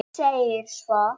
Og segir svo